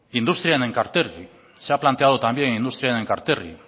industria en enkarterri se ha planteado también industria en enkarterri